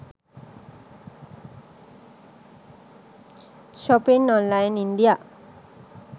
shopping online india